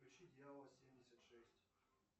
включи дьявол семьдесят шесть